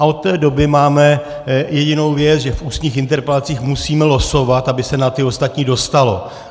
A od té doby máme jedinou věc, že v ústních interpelacích musíme losovat, aby se na ty ostatní dostalo.